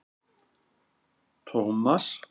Tómas